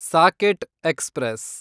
socket express